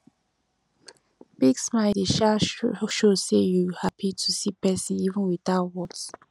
big smile dey um show sey you hapi to see persin even witout words